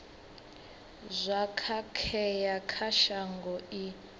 zwo khakhea kha shango i